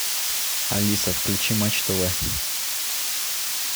алиса включи матч тв